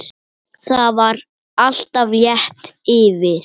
Það var alltaf létt yfir.